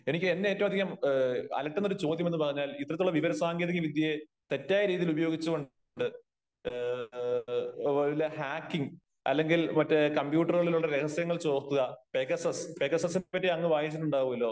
എനിക്ക് എന്നെ ഏറ്റവും അധികം അലട്ടുന്ന ഒരു ചോദ്യം എന്ന് പറഞ്ഞാൽ ,ഇത്തരത്തിലുള്ള വിവര സാങ്കേതിക വിദ്യയെ തെറ്റായ രീതിയിൽ ഉപയോഗിച്ച് കൊണ്ട് ഏ ഏ ഏ വല്ല ഹാക്കിങ് അല്ലെങ്കിൽ മറ്റേ കമ്പ്യൂട്ടര് കളിലുളള രഹസ്യങ്ങൾ ചോർത്തുക പേഗസസ് പേഗസസ് നെ പറ്റി അങ്ങ് വായിച്ചിട്ടുണ്ടാകുമല്ലോ